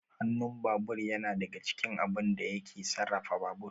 Hanun babur yana daga cikin abun da yake sarrafa babur